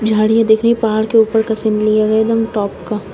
झाड़ियाँ दिख रही हैं। पहाड़ के ऊपर का सीन लिया गया है एकदम टॉप का।